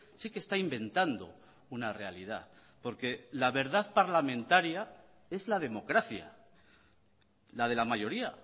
sí que está inventando una realidad porque la verdad parlamentaria es la democracia la de la mayoría